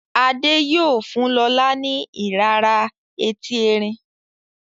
Ade yíò fún lọla ni irara Ẹti Ẹrin.